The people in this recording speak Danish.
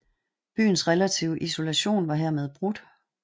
Byens relative isolation var hermed brudt